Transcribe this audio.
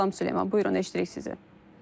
Salam Süleyman, buyurun, eşidirik sizi.